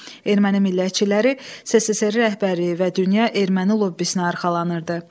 Erməni millətçiləri SSRİ rəhbərliyi və dünya erməni lobbisinə arxalanırdı.